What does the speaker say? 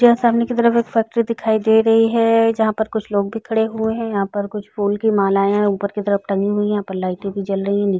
यह सामने की तरफ एक फैक्ट्री दिखाई दे रही है जहाँ पर कुछ लोग भी खड़े हुए है यहाँ पर कुछ फूल की मालाये ऊपर की तरफ टंगी हुई यहाँ पर लाइटे भी जल रही हैं ।